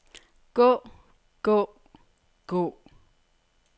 gå gå gå